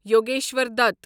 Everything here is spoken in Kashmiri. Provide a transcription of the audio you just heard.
یوگیشور دت